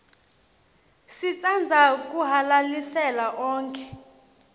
sitsandza kuhalalisela onkhe